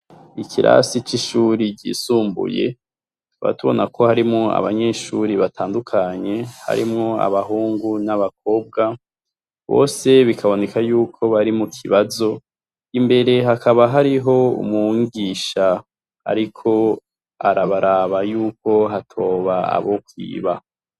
Ikirasi c’ishure ryisumbuye, tukaba tubona ko harimwo abanyeshure batandukanye harimwo abahungu n’abakobwa, bose bikaboneka yuko bari mu kibazo, imbere hakaba hariho umwigisha ariko arabaraba yuko hatoba abokwiba.